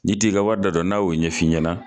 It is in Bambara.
N'i t'i ka wari da dɔn n'a y'o ɲɛf'i ɲɛna